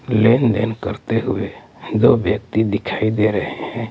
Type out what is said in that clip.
लेनदेन करते हुए दो व्यक्ति दिखाई दे रहे हैं।